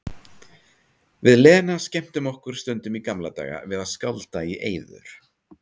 Við Lena skemmtum okkur stundum í gamla daga við að skálda í eyður.